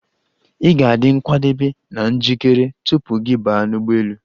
Ị ga-adị nkwadebe na njikere tupu gị baa n'ụgbọelu.